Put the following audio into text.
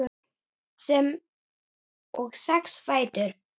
sem og sex fætur.